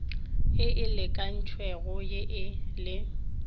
ye e lekantšwego ye e